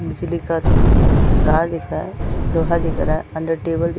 बिजली का तार दिख रहा है लोहा दिख रहा है अंदर टेबल दिख --